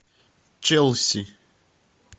челси